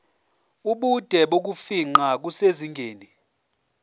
ubude bokufingqa kusezingeni